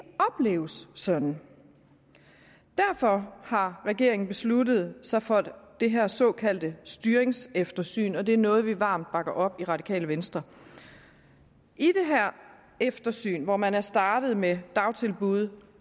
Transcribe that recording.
opleves sådan derfor har regeringen besluttet sig for det her såkaldte styringseftersyn og det er noget vi varmt bakker op i radikale venstre i eftersynet hvor man er startet med dagtilbud